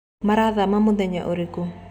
marathama mũthenya ũrĩkũ